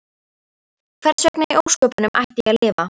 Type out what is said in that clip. Hversvegna í ósköpunum ætti ég að lifa?